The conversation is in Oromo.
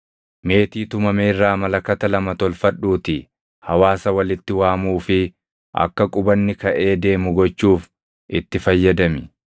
“Meetii tumame irraa malakata lama tolfadhuutii hawaasa walitti waamuu fi akka qubanni kaʼee deemu gochuuf itti fayyadami.